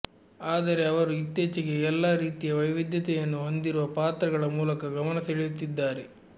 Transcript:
ಆದರೆ ಅವರು ಇತ್ತೀಚೆಗೆ ಎಲ್ಲ ರೀತಿಯ ವೈವಿಧ್ಯತೆಯನ್ನು ಹೊಂದಿರುವ ಪಾತ್ರಗಳ ಮೂಲಕ ಗಮನ ಸೆಳೆಯುತ್ತಿದ್ದಾರೆ